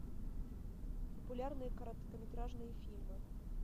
популярные короткометражные фильмы